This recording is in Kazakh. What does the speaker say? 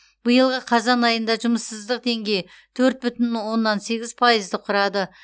биылғы қазан айында жұмыссыздық деңгейі төрт бүтін оннан сегіз пайызды құрады